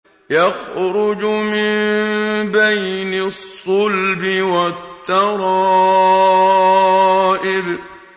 يَخْرُجُ مِن بَيْنِ الصُّلْبِ وَالتَّرَائِبِ